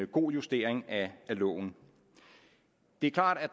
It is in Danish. god justering af loven det er klart at